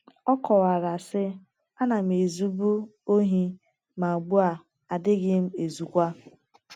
Ọ kọwara, sị: “ Ana m ezubu ohi, ma ugbu a adịghị m ezukwa.